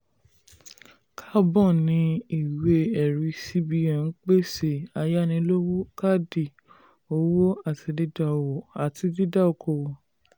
carbon ní ìwé-ẹ̀rí cbn ń pèsè ayánilówó káàdì owó àti dída okoòwò.